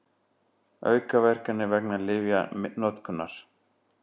Aukaverkanir vegna lyfjanotkunar.